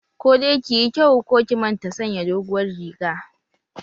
Ko dai ki yi kyau ko ki manta sanya doguwar riga!